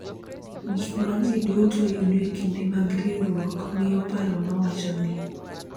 Gik ma ji duto yudo e kinde mag riwruok miyo paro ma wacho ni .